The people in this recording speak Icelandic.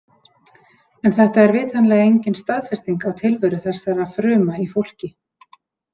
En þetta er vitanlega engin staðfesting á tilveru þessara fruma í fólki.